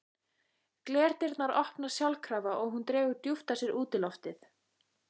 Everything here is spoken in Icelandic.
Glerdyrnar opnast sjálfkrafa og hún dregur djúpt að sér útiloftið.